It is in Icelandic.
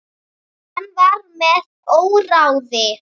Hann var með óráði.